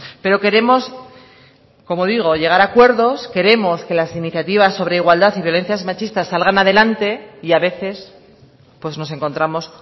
pero queremos como digo llegar a acuerdos queremos que las iniciativas sobre igualdad y violencias machistas salgan adelante y a veces pues nos encontramos